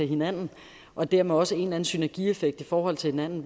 hinanden og dermed også en synergieffekt i forhold til hinanden